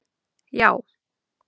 já.